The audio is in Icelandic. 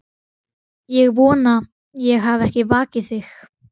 Ég vona ég hafi ekki vakið þig.